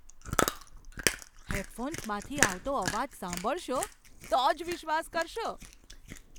હેડફોન્સમાંથી આવતો અવાજ સાંભળશો તો જ વિશ્વાસ કરશો.